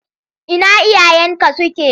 Ina iyayenka suke?